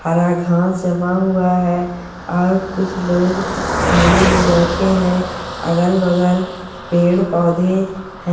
हरा घास जमा हुआ है और कुछ लोग झूले में बैठे हैं अगल बगल पेड़ पौधे है।